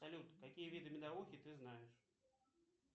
салют какие виды медовухи ты знаешь